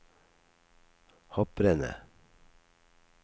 hopprennet